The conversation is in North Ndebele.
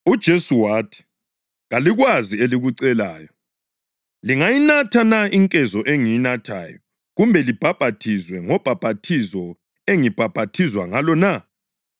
UJesu wathi, “Kalikwazi elikucelayo. Lingayinatha na inkezo engiyinathayo kumbe libhaphathizwe ngobhaphathizo engibhaphathizwa ngalo, na?”